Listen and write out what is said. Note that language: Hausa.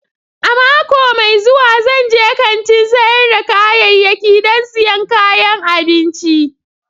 A mako mai zuwa, zan je kantin sayar da ƙayayyaki don siyan kayan abinci.